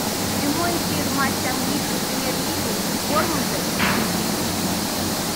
прямой эфир матча английской премьер лиги борнмута и сити